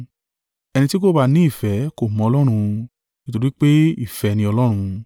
Ẹni tí kò bá ní ìfẹ́ kò mọ Ọlọ́run: nítorí pé ìfẹ́ ni Ọlọ́run.